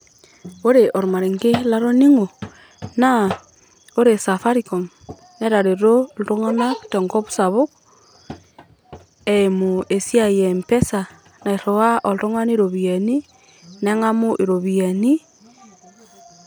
Ore olmarenke latoning'o, naa ore Safaricom, netareto iltung'anak tenkop sapuk eimu tesiai e M-pesa nairiwaa oltung'ani iropiyiani neng'amu iropiyiani.